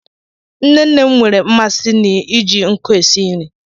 Nne nne m nwere mmasị n'iji nkụ esi nri.